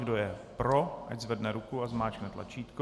Kdo je pro, ať zvedne ruku a zmáčkne tlačítko.